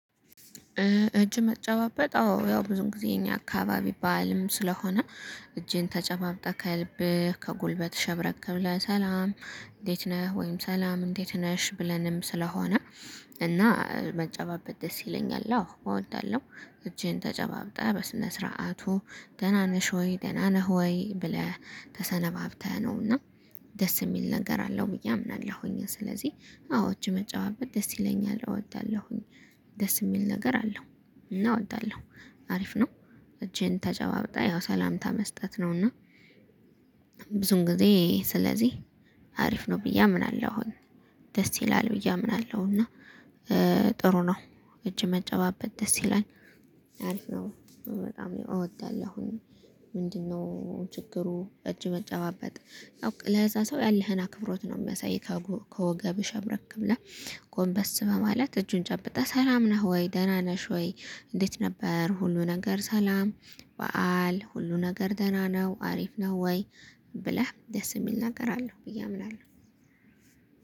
እጅ መጨባበጥ አዎ ያው ብዙ ጊዜ የኛ አካባቢ ባህልም ስለሆነ። እጄን ተጨባብጠህ ከልብህ ከጉልበትህ ሸብረቅ ብለህ ሰላም እንዴት ነህ ወይም ሰላም እንዴት ነሽ ብለንም ስለሆነ። እና መጨባበጥ ደስ ይለኛል አዎ እወዳለሁ። እጄን ተጨባብጠህ በስነ ስርዓቱ ደህና ነሽ ወይ ደህና ነህ ሆይ ብለህ? ተሰናብተህ ነው። እና ደስ የሚል ነገር አለው ብዬ አምናለሁኝ። ስለዚህ አዎ እጅ መጨባበጥ ደስ ይለኛል እወዳለሁኝ። ደስ የሚል ነገር አለው። እና እወዳለሁ። አሪፍ ነው። እጄን ተጨባጠ ያው ሰላምታ መስጠት ነውና። ጊዜ ስለዚህ አሪፍ ነው ብዬ አምናለሁ። አሁን ደስ ይላል ብዬ አምናለሁ። እና ጥሩ ነው። እጅ መጨባበጥ ደስ ይላል። አሪፍ ነው በጣም እወዳለሁ አሁን። ምንድነው ችግሩ እጅ መጨባበጥ? ለዛ ሰው ያለህን አክብሮት ነው የሚያሳይህ። ከወገብሽ ሸብረክ ብለህ። ጎንበስ በማለት እጁን ጨብጠህ ሰላም ነህ ወይ ደህና ነሽ ወይ? እንዴት ነበር ሁሉ ነገር ሰላም። በዓል ሁሉ ነገር ደህና ነው አሪፍ ነው ወይ? ብለህ ደስ የሚል ነገር አለው ብዬ አምናለሁ።